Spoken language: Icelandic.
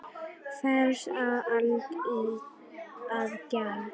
Hvers á Alda að gjalda?